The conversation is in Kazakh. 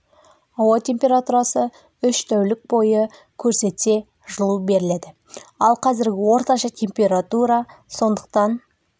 ауа температурасы үш тәулік бойы көрсетсе жылу беріледі ал қазіргі орташа температура сондықтан